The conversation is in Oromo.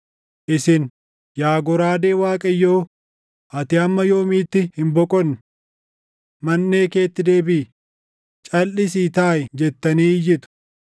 “Isin, ‘Yaa goraadee Waaqayyoo ati hamma yoomiitti hin boqonne? Manʼee keetti deebiʼi; calʼisii taaʼi’ jettanii iyyitu.